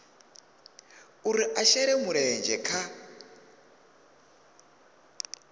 uri a shele mulenzhe kha